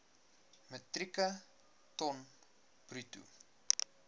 metrieke ton bruto